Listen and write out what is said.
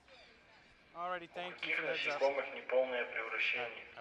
у каких насекомых неполное превращение